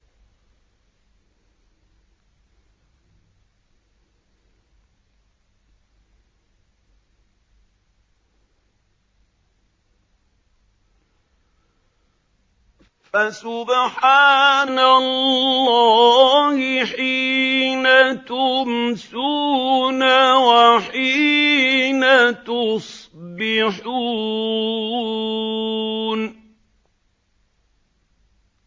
فَسُبْحَانَ اللَّهِ حِينَ تُمْسُونَ وَحِينَ تُصْبِحُونَ